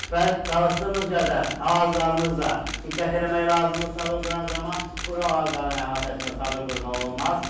Və çalışdığımız qədər ağaclarımızda diqqət eləmək lazımdır çadır quran zaman, quru ağacların əhatəsində çadır qurmaq olmaz.